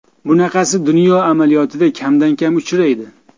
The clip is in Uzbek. Bunaqasi dunyo amaliyotida kamdan-kam uchraydi.